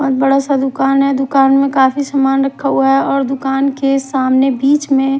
और बड़ा सा दुकान है दुकान में काफी सामान रखा हुआ है और दुकान के सामने बीच में--